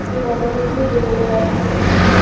ই- কত কিছুই দেখতে পাচ্ছি। ই--